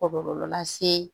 Kɔlɔlɔ lase